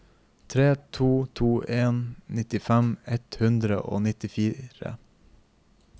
tre to to en nittifem ett hundre og nittitre